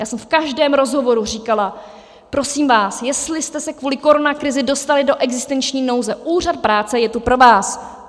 Já jsem v každém rozhovoru říkala: Prosím vás, jestli jste se kvůli koronakrizi dostali do existenční nouze, úřad práce je tu pro vás.